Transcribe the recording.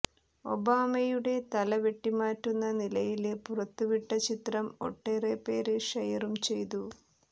ഒബാമയുടെ തല വെട്ടിമാറ്റുന്ന നിലയില് പുറത്തുവിട്ട ചിത്രം ഒട്ടേറെ പേര് ഷെയറും ചെയ്തു